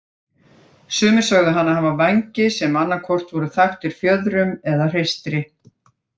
Sumir sögðu hana hafa vængi sem annað hvort voru þaktir fjöðrum eða hreistri.